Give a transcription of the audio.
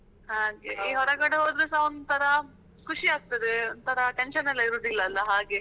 ಹಾಗೆ ಹೊರಗಡೆ ಹೊದ್ರುಸ ಒಂತರ ಖುಷಿ ಆಗ್ತಾದೆ ಒಂತರ tension ಇರುದಿಲ್ಲ ಅಲ ಹಾಗೆ.